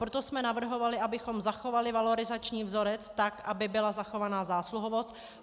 Proto jsme navrhovali, abychom zachovali valorizační vzorec tak, aby byla zachována zásluhovost.